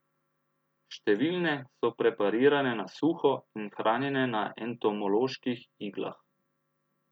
Številne so preparirane na suho in hranjene na entomoloških iglah.